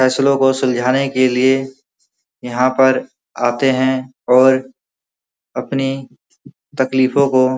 फेसलों को सुलझाने के लिए यहाँ पर आते है और अपने तकलीफो को --